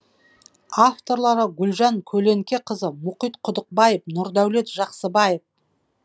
авторлары гүлжан көленкеқызы мұхит құдықбаев нұрдәулет жақсыбаев